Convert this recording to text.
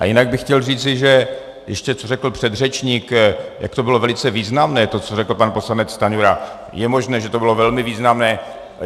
A jinak bych chtěl říci, že ještě co řekl předřečník, jak to bylo velice významné, to, co řekl pan poslanec Stanjura, je možné, že to bylo velmi významné.